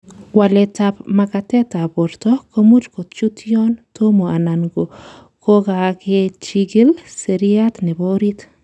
Waletab makatetab borto komuch kochut yon tomo anan ko kokakechikil seriat nebo orit.